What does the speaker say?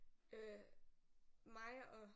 Øh mig og